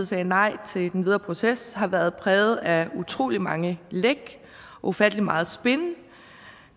sagde nej til den videre proces har været præget af utrolig mange læk ufattelig meget spin